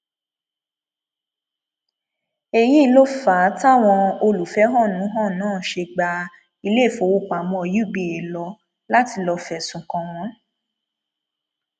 èyí ló fà á táwọn olùfẹhónú hàn náà ṣe gba iléèfowópamọ uba lọ láti lọọ fẹsùn kàn wọn